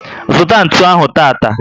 Zụta ntụ ahụ tata!